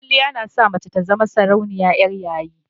Kwaliya na sa mace ta zama sarauniya 'yar yayi.